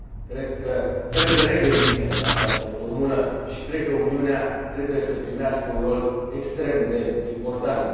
Cred că trebuie regândită această formulă și cred că Uniunea trebuie să primească un rol extrem de important.